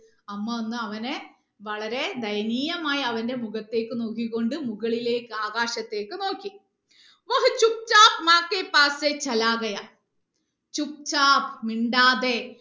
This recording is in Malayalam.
അമ്മ വന്ന് വളരെ ദയനീയമായി അവന്റെ മുഖത്തേക്ക് നോക്കികൊണ്ട് മുകളിലേക്ക് ആകാശത്തേക്ക് നോക്കി മിണ്ടാതെ